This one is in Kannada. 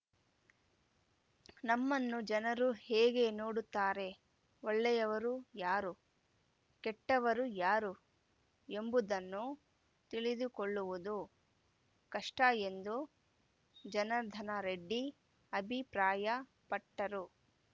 ನಮ್ಮನ್ನು ಜನರು ಹೇಗೆ ನೋಡುತ್ತಾರೆ ಒಳ್ಳೆಯವರು ಯಾರು ಕೆಟ್ಟವರು ಯಾರು ಎಂಬುದನ್ನು ತಿಳಿದುಕೊಳ್ಳುವುದು ಕಷ್ಟಎಂದು ಜನಾರ್ದನ ರೆಡ್ಡಿ ಅಭಿಪ್ರಾಯಪಟ್ಟರು